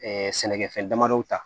sɛnɛkɛfɛn damadɔ ta